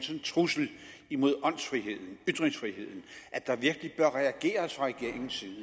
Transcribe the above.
trussel mod ytringsfriheden at der virkelig bør reageres fra regeringens side